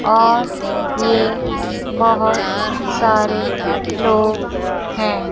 और ये बहोत सारे लोग है।